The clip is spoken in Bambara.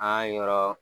An yɔrɔ